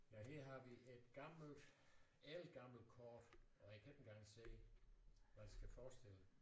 Ja her har vi et gammelt ældgammelt kort og jeg kan ikke engang se hvad det skal forestille